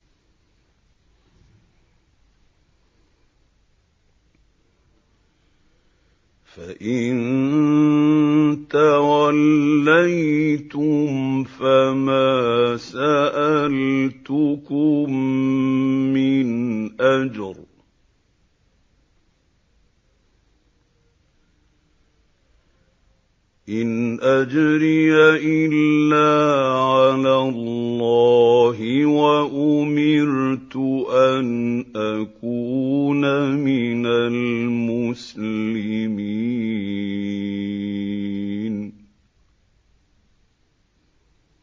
فَإِن تَوَلَّيْتُمْ فَمَا سَأَلْتُكُم مِّنْ أَجْرٍ ۖ إِنْ أَجْرِيَ إِلَّا عَلَى اللَّهِ ۖ وَأُمِرْتُ أَنْ أَكُونَ مِنَ الْمُسْلِمِينَ